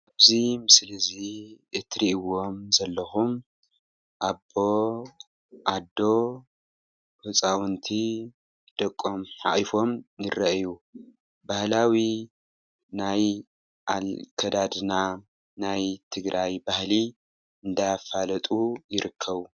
እዚ ምስሊ እዚ እትርእይዎም ዘለኩም ኣቦ፣ ኣዶ ህጻዉንቲ ደቆም ሓቁፎም ይረአዩ:: ባህላዊ ናይ ኣከዳድና ናይ ትግራይ ባህሊ እንዳፋለጡ ይርከቡ።